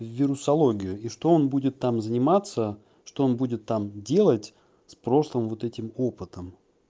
вирусология и что он будет там заниматься что он будет там делать с прошлым вот этим опытом